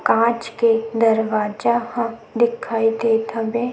काँच के दरवाजा ह दिखाई देत हवे।